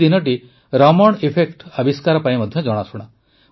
ଏହି ଦିନଟି ରମଣ ଏଫେକ୍ଟର ଆବିଷ୍କାର ପାଇଁ ମଧ୍ୟ ଜଣାଶୁଣା